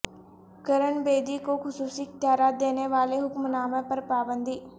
کرن بیدی کو خصوصی اختیارات دینے والے حکم نامہ پر پابندی